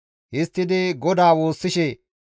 Histtidi GODAA woossishe,